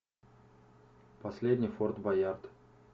последний форт боярд